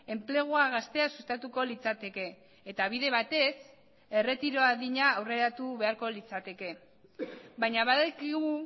enplegua gaztea sustatuko litzateke eta bide batez erretiro adina aurreratu beharko litzateke baina badakigu